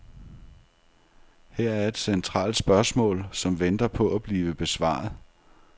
Her er et centralt spørgsmål, som venter på at blive besvaret.